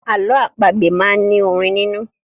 Àlọ́ àpagbè máa ń ní orin nínú.